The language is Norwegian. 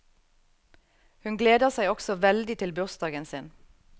Hun gleder seg også veldig til bursdagen sin.